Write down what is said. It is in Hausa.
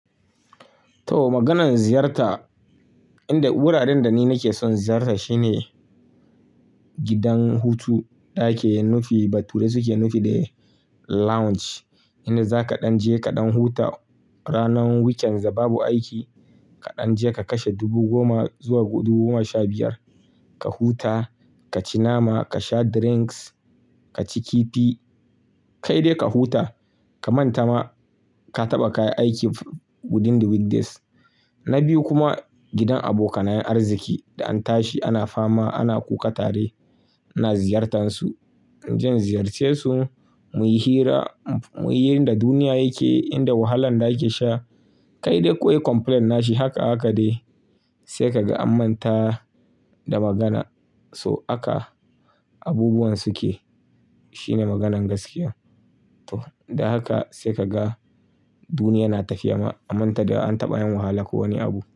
To maganan ziyarta, inda wuraren da ni nake son ziyarta shine gidan hutu, da ake nufi, bature suke nufi da lounge. Inda zaka ɗan je ka ɗan huta ranar weekend da babu aiki. Ka ɗan je ka kashe dubu goma zuwa dubu goma sha biyar, ka huta, ka ci nama, ka sha drinks, ka ci kifi. Kai dai ka huta, ka manta ma ka taɓa kayi aiki within the weekdays. Na biyu kuma gidan abokanayen arziki da an tashi ana fama, ana kuka tare, ina ziyartansu. In je in ziyarce su, muyi hira, muyi yan da duniya yake, inda wahalan da ake sha. Kai dai kowa yayi complain nashi haka haka dai. Sai kaga anmanta da magana. So aka abubuwan suke shine maganan gaskiya. To da haka sai kaga duniya na tafiya ma. Amanta da an taɓa yin wahala ko wani abu.